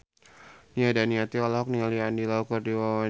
Nia Daniati olohok ningali Andy Lau keur diwawancara